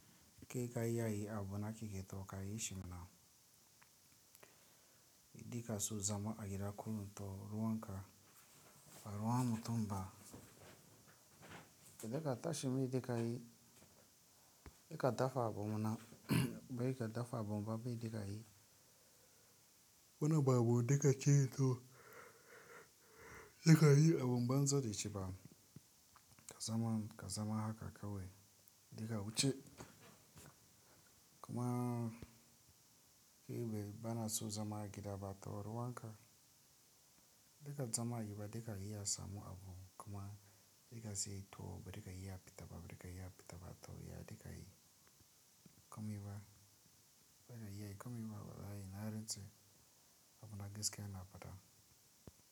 Keke ka yi a yi abu na keke to ka yi shi mana. Yi dika so zama a gida kullum to ruwan ka a ruwa mutum ba. Dika ta shi mai dika yi, dika dafa abu mana, bai dika dafa abu ba bai dika yi. Wani babu dika ci to dika yi abun banza da shi ba. Ka zama, ka zama haka kawai. Dika wuce. Kuma ke bai bana so zama a gida ba to ruwan ka. Dika zama a gida dika yi ya samu abu kuma dika siyi to ba dika yi ya fita ba, ba dika yi ya fita ba to ya dika yi. Ya komi ba, bana yi ya komi ba bana yi na rance abu na gaske yana fata.